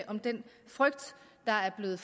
om den frygt der er blevet